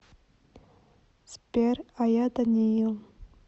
сбер а я даниил